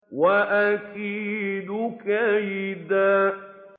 وَأَكِيدُ كَيْدًا